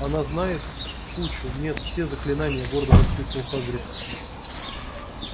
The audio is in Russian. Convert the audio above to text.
она знает кучу нет все заклинания гордо воскликнул хагрид